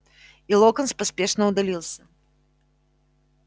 и локонс поспешно удалился